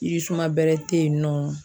Yiri suma bɛrɛ tɛ yen nɔ.